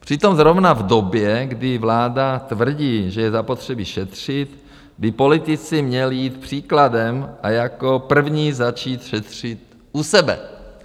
Přitom zrovna v době, kdy vláda tvrdí, že je zapotřebí šetřit, by politici měli jít příkladem a jako první začít šetřit u sebe.